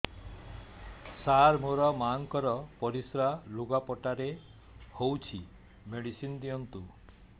ସାର ମୋର ମାଆଙ୍କର ପରିସ୍ରା ଲୁଗାପଟା ରେ ହଉଚି ମେଡିସିନ ଦିଅନ୍ତୁ